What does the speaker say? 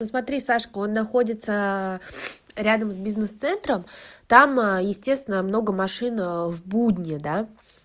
посмотри сашку он находится рядом с бизнес-центром там естественно много машин в будни да